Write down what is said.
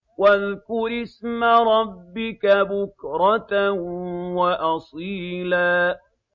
وَاذْكُرِ اسْمَ رَبِّكَ بُكْرَةً وَأَصِيلًا